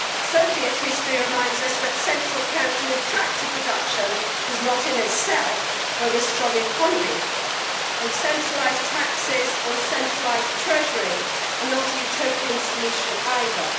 Soviet history reminds us that central counting of tractor production does not, in itself, bring a strong economy, and centralised taxes or a centralised treasury are not a Utopian solution either.